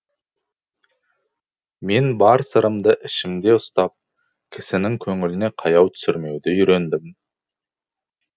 мен бар сырымды ішімде ұстап кісінің көңіліне қаяу түсірмеуді үйрендім